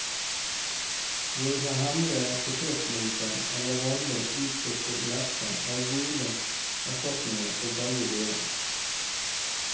Våre hjemlige potetlomper eller vanlig usøtet lefse er gode erstatninger for begge deler.